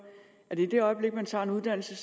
at i det øjeblik man tager en uddannelse